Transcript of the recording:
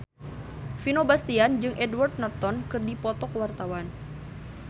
Vino Bastian jeung Edward Norton keur dipoto ku wartawan